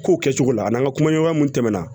K'o kɛcogo la a n'an ka kumaɲɔgɔnya mun tɛmɛna